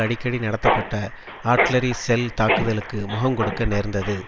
அடிக்கடி நடத்தப்பட்ட artillery shell தாக்குதலுக்கு முகம் கொடுக்க நேர்ந்தது